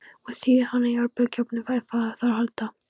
Ég þíði hana í örbylgjuofninum ef á þarf að halda.